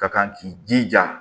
Ka kan k'i jija